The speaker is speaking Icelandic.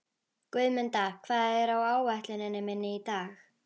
Guðmunda, hvað er á áætluninni minni í dag?